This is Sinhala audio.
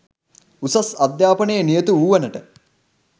උසස් අධ්‍යාපනයේ නියුතු වූවනට